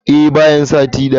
Eh, bayan sati daya.